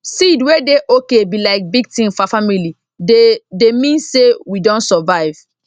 seed wey dey okay be like big thing for our family they dey mean say we don survive